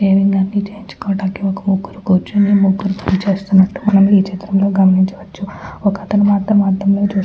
shaving అవి చేయించుకోడానికి ఒక్క ముగ్గురు కుర్చొని ముగ్గురు పనిచేస్తున్నట్టు మనం ఈచిత్రంలో గమనించవచ్చు ఒక్కతను మాత్రం అద్దంలో చూసుకుంట --